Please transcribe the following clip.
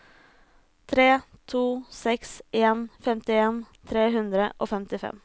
tre to seks en femtien tre hundre og femtifem